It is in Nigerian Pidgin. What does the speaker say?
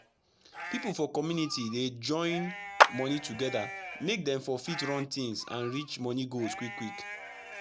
pipu for community dey join moni togeda make dem for fit run tins and reach moni goals quick quick